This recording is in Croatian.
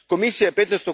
Komisija je